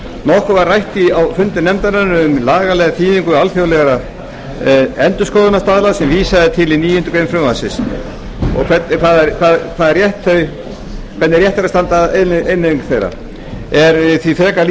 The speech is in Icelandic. nokkuð var rætt á fundum nefndarinnar um lagalega þýðingu alþjóðlegra endurskoðunarstaðla sem vísað er til í níundu grein frumvarpsins og hvernig rétt sé að standa að innleiðingu þeirra er því frekar lýst